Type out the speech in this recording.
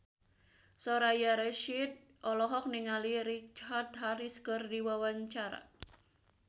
Soraya Rasyid olohok ningali Richard Harris keur diwawancara